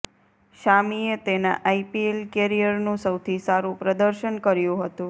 શામીએ તેના આઈપીએલ કેરીયરનું સૌથી સારુ પ્રદર્શન કર્યુ હતુ